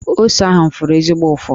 Ose ahụ fụrụ ezigbo ụfụ.